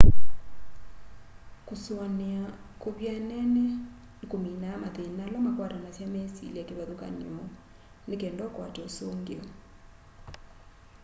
kusuania kuvyanene nikuminaa mathina ala makwatanasya mesilya kivathukany'o nikenda ukwate usungio